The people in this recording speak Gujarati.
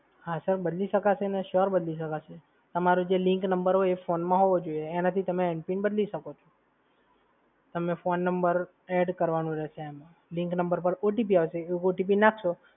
હા સર બદલી શકાશે ને sure બદલી શકશે. તમારો જે linked number હોય એ ફોન માં હોવો જોઈએ. એનાથી તમે એમ પિન બદલી શકો છો. તમે phone number add કરવાનો રહેશે એમાં linked number પર OTP આવશે એ OTP નાખશો